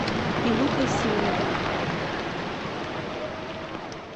илюхой симоновым